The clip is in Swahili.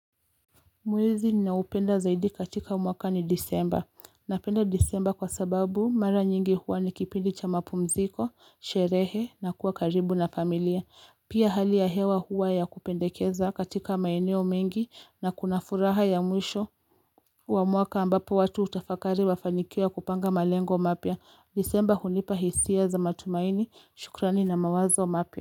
Mwezi ninaoupenda zaidi katika umwaka ni disemba, napenda disemba kwa sababu mara nyingi huwa nikipindi cha mapumziko, sherehe na kuwa karibu na familia, pia hali ya hewa huwa ya kupendekeza katika maeneo mengi na kuna furaha ya mwisho Wamwaka ambapo watu hutafakari mafanikio ya kupanga malengo mapya, disemba hunipa hisia za matumaini, shukrani na mawazo mapya.